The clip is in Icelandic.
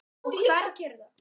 Fjaran var torgið í dalnum.